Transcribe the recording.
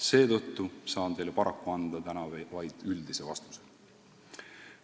Seetõttu saan teile paraku täna anda vaid üldise vastuse.